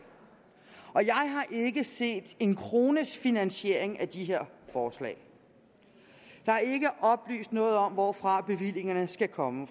jeg set en krones finansiering af de her forslag der er ikke oplyst noget om hvorfra bevillingerne skal komme